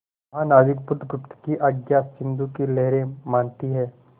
महानाविक बुधगुप्त की आज्ञा सिंधु की लहरें मानती हैं